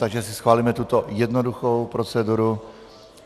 Takže si schválíme tuto jednoduchou proceduru.